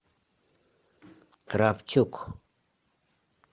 кравчук